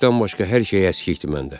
İşdən başqa hər şey əskikdir məndə.